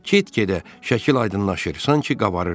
Get-gedə şəkil aydınlaşır, sanki qabarırdı.